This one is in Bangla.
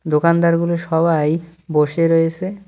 দোকানদারগুলো সবাই বসে রয়েসে ।